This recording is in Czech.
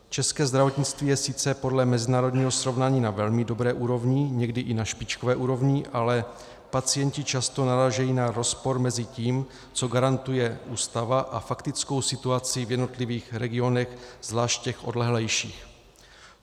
České zdravotnictví je sice podle mezinárodního srovnání na velmi dobré úrovni, někdy i na špičkové úrovni, ale pacienti často narážejí na rozpor mezi tím, co garantuje Ústava, a faktickou situací v jednotlivých regionech, zvlášť těch odlehlejších.